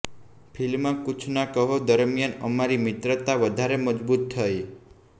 film Kuchh Na Kaho દરમિયાન અમારી મિત્રતા વધારે મજબુત થઈ